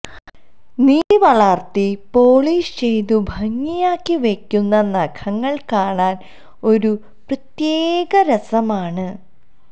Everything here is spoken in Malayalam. നീട്ടി വളർത്തി പോളിഷ് ചെയ്തു ഭംഗിയാക്കി വയ്ക്കുന്ന നഖങ്ങൾ കാണാൻ ഒരു പ്രത്യേക രസമാണ്